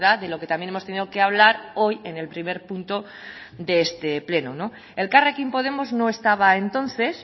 de lo que también hemos tenido que hablar hoy en el primer punto de este pleno elkarrekin podemos no estaba entonces